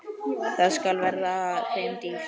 Það skal verða þeim dýrt!